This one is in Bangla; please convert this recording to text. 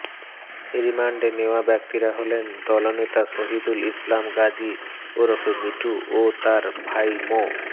রিমান্ডে নেওয়া ব্যক্তিরা হলেন দলনেতা শহীদুল ইসলাম গাজী ওরফে মিঠু ও তাঁর ভাই মো